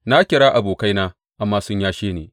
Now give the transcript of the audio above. Na kira abokaina amma sun yashe ni.